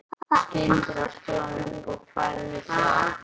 Skyndilega stóð hún upp og færði sig afturábak.